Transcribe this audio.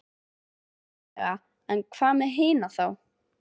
Mögulega en hvað með hina þá?